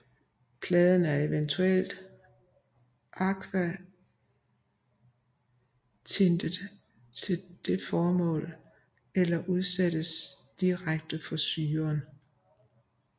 Pladen er eventuelt akvatintet til det formål eller udsættes direkte for syren